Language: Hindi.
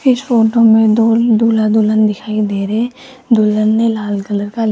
इस फोटो में दो दूल्हा दुल्हन दिखाई दे रहे हैं दुल्हन ने लाल कलर का ले--